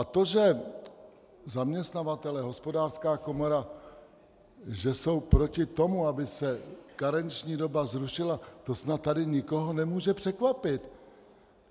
A to, že zaměstnavatelé, Hospodářská komora, že jsou proti tomu, aby se karenční doba zrušila, to snad tady nikoho nemůže překvapit.